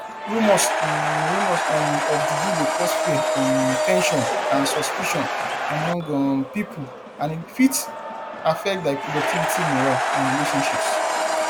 rumors um rumors um of juju dey cause fear um ten sion and suspicion among um people and e fit affect di productivity morale and relationships